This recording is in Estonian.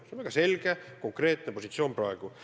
See on väga selge konkreetne positsioon praegu.